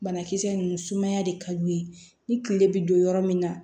Banakisɛ ninnu sumaya de ka d'u ye ni tile bɛ don yɔrɔ min na